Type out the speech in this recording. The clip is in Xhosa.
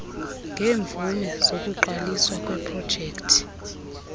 ngeemvume zokuqaliswa kweeprojekti